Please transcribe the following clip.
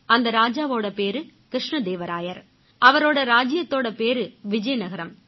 அந்த ராஜாவோட பேரு கிருஷ்ணதேவராயர் அவரோட ராஜ்ஜியத்தோட பேரு விஜயநகரம்